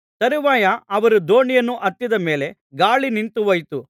ತರುವಾಯ ಅವರು ದೋಣಿಯನ್ನು ಹತ್ತಿದ ಮೇಲೆ ಗಾಳಿ ನಿಂತು ಹೋಯಿತು